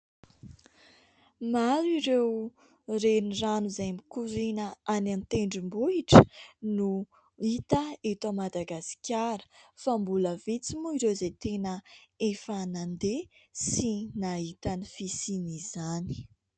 Maro ireo renirano izay mikoriana any amin'ny tendrom-bohitra no hita eto Madagasikara fa mbola vitsy moa ireo izay tena efa nandeha sy nahita ny fisian'izany.